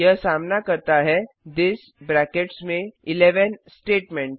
यह सामना करता है थिस ब्रैकेट्स में 11 स्टेटमेंट